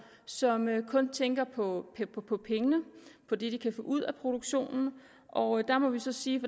som kun tænker på på pengene på det de kan få ud af produktionen og der må vi så sige